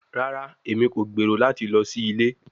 Rara, Emi ko gbero lati lọ si ile